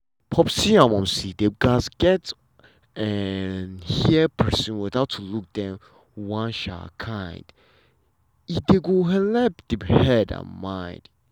popsi and momsi dem gats um hear persin without to look dem one um kind e um go helep the head and mind.